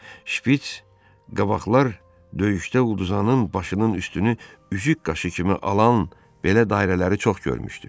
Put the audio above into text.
Şpits qabaqlar döyüşdə udzanın başının üstünü üzük qaşı kimi alan belə dairələri çox görmüşdü.